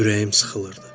Ürəyim sıxılırdı.